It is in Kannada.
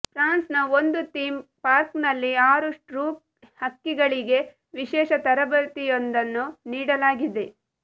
ಫ್ರಾನ್ಸ್ನ ಒಂದು ಥೀಮ್ ಪಾರ್ಕ್ನಲ್ಲಿ ಆರು ರೂಕ್ ಹಕ್ಕಿಗಳಿಗೆ ವಿಶೇಷ ತರಬೇತಿಯೊಂದನ್ನು ನೀಡಲಾಗಿದೆ